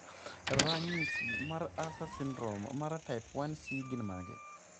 Ranyisi mag Usher syndrome, mar type 1C gin mage?